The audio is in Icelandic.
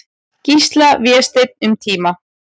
Gísla, Vésteinn, um tíma.